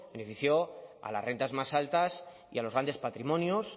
benefició a las rentas más altas y a los grandes patrimonios